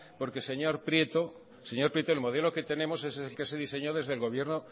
porque señor prieto el modelo que tenemos es el que se diseñó desde el gobierno